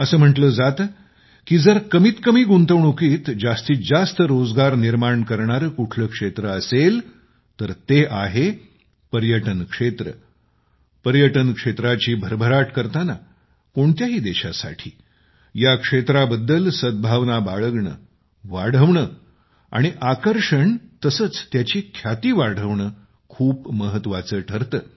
असं म्हटलं जातं की जर कमीत कमी गुंतवणुकीत जास्तीत जास्त रोजगार निर्माण करणारे कुठले क्षेत्र असेल तर ते आहे पर्यटन क्षेत्र पर्यटन क्षेत्राची भरभराट करताना कोणत्याही देशासाठी या क्षेत्राबद्दल सद्भावना बाळगणे वाढवणे आणि आकर्षण तसेच त्याची ख्याती वाढवणे खूप महत्त्वाचे ठरते